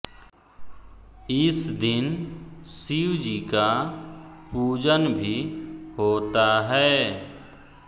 इस दिन शिव जी का पूजन भी होता है